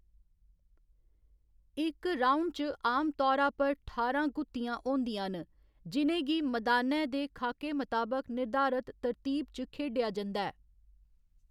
इक 'राउंड' च आमतौरा पर ठारां गु'त्तियां होंदियां न जि'नें गी मदानै दे खाके मताबक निर्धारत तरतीब च खेढेआ जंदा ऐ।